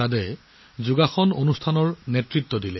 এইবাৰ প্ৰথমবাৰৰ বাবে ছৌদি মহিলাই মূল যোগাসন অধিৱেশন আয়োজন কৰিছে